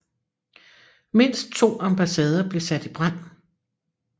Mindst to ambassader blev sat i brand